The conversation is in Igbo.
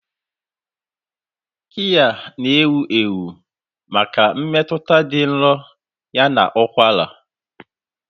Kiya na-ewu ewu maka mmetụta dị nro ya na ụkwara.